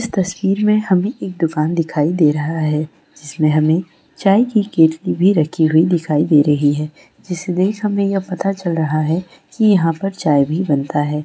इस तस्वीर में हमें एक दुकान दिखाई दे रहा है जिसमें हमें चाय की केटली भी रखी हुई दिखाई दे रही है जिसे देख हमें यह पता चल रहा है कि यहां पर चाय भी बनता है।